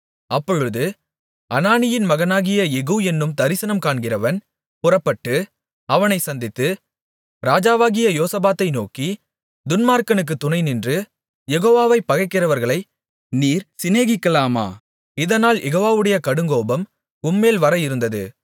அப்பொழுது அனானியின் மகனாகிய யெகூ என்னும் தரிசனம் காண்கிறவன் புறப்பட்டு அவனைச் சந்தித்து ராஜாவாகிய யோசபாத்தை நோக்கி துன்மார்க்கனுக்குத் துணைநின்று யெகோவாவைப் பகைக்கிறவர்களை நீர் சிநேகிக்கலாமா இதனால் யெகோவாவுடைய கடுங்கோபம் உம்மேல் வர இருந்தது